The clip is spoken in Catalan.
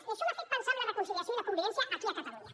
i això m’ha fet pensar en la reconciliació i la convivència aquí a catalunya